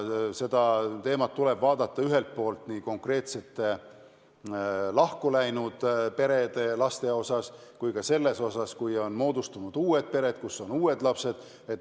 Seda tuleb vaadata ühelt poolt nii konkreetsete lahkuläinud perede laste seisukohast kui ka sellest seisukohast, et võivad olla moodustunud uued pered, kus on uued lapsed.